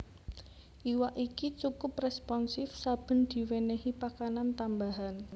Iwak iki cukup responsif saben diwenehi pakanan tambahan